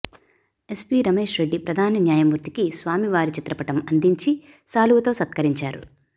SP Ramesh Reddy ప్రధాన న్యాయమూర్తి కి స్వామివారి చిత్రపటం అందించి శాలువతో సత్కరించారు